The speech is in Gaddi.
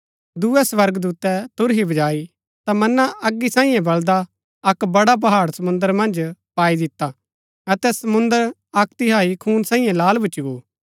दूये स्वर्गदूतै तुरही बजाई ता मना अगी सांईये बळदा अक्क बड़ा पहाड़ समुंद्र मन्ज पाई दिता अतै समुंद्र अक्क तिहाई खून सांईये लाल भूच्ची गो